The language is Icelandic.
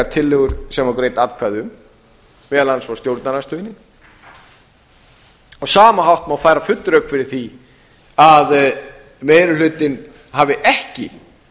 tillögur sem voru greidd atkvæði um meðal annars frá stjórnarandstöðunni á sama hægt má færa full rök ári því að meiri hlutinn hafi ekki